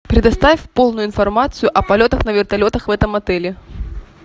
предоставь полную информацию о полетах на вертолетах в этом отеле